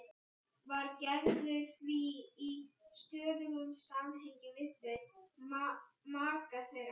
Var Gerður því í stöðugum samgangi við þau, maka þeirra